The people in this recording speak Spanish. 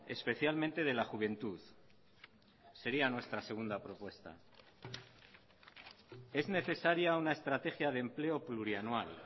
especialmente de la juventud sería nuestra segunda propuesta es necesaria una estrategia de empleo plurianual